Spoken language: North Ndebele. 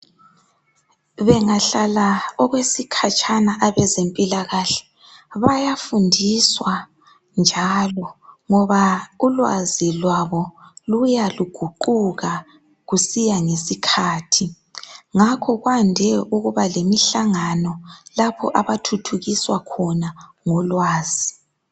Bengahlala okwesikhatshana abezempilakahle bayafundiswa njalo ngoba ulwazi lwabo luya luguquka kusiya ngesikhathi ngakho kwande ukuba lemihlangano lapho abathuthukiswa khona ngolwazi.